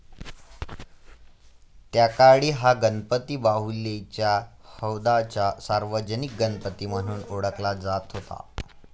त्याकाळी हा गणपती बाहुलीच्या हौदाचा सार्वजनिक गणपती म्हणून ओळखला जात होता.